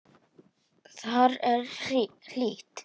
Þar er hlýtt.